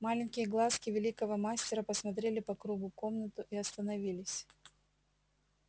маленькие глазки великого мастера посмотрели по кругу комнату и остановились